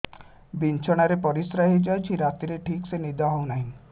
ବିଛଣା ରେ ପରିଶ୍ରା ହେଇ ଯାଉଛି ରାତିରେ ଠିକ ସେ ନିଦ ହେଉନାହିଁ